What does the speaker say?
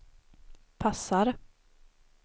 passar